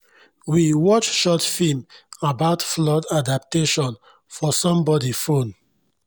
we watch short film about flood adaptation for somebody phone